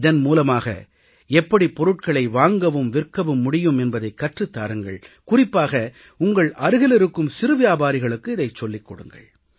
இதன் மூலமாக எப்படி பொருட்களை வாங்கவும் விற்கவும் முடியும் என்பதைக் கற்றுத் தாருங்கள் குறிப்பாக உங்கள் அருகிலிருக்கும் சிறு வியாபாரிகளுக்கு இதைச் சொல்லிக் கொடுங்கள்